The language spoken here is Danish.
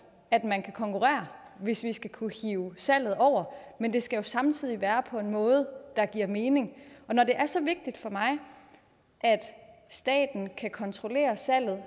at man kan konkurrere hvis vi skal kunne hive salget over men det skal jo samtidig være på en måde der giver mening når det er så vigtigt for mig at staten kan kontrollere salget er